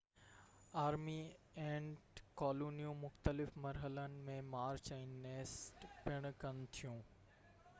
army ant ڪالونيون مختلف مرحلن ۾ مارچ ۽ نيسٽ پڻ ڪن ٿيون